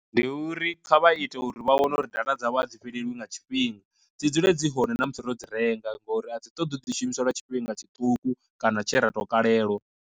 Ndi uri kha vha ite uri vha wane uri data dzavho a dzi fhelelwi nga tshifhinga, dzi dzule dzi hone na musi ro dzi renga ngori a dzi ṱoḓi u ḓi shumisa lwa tshifhinga tshiṱuku kana tshe ra tou kalelwa.